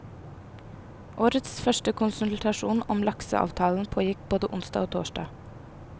Årets første konsultasjoner om lakseavtalen pågikk både onsdag og torsdag.